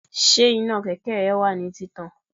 Ṣé iná kẹ̀kẹ́ rẹ wà ní títàn?